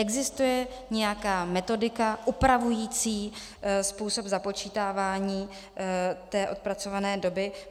Existuje nějaká metodika upravující způsob započítávání té odpracované doby?